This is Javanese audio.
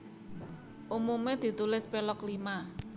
Umume ditulis Pelog Lima